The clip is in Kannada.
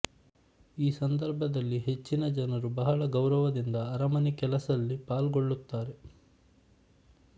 ಈ ಸಂದರ್ಭದಲ್ಲಿ ಹೆಚ್ಚಿನ ಜನರು ಬಹಳ ಗೌರವದಿಂದ ಅರಮನೆ ಕೆಲಸಲ್ಲಿ ಪಾಲ್ಗೊಳ್ಳುತ್ತಾರೆ